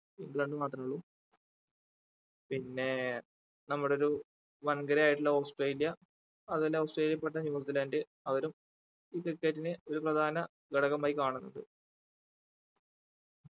England മാത്ര ഉള്ളൂ പിന്നേ ഏർ നമ്മുടെ ഒരു വൻകരയായിട്ടുള്ള ഓസ്ട്രേലിയ അതുപോലെ ഓസ്ട്രേലിയ പെട്ട ന്യൂസിലാൻഡ് അവരും ഈ cricket നെ ഒരു പ്രധാന ഘടകമായി കാണുന്നുണ്ട്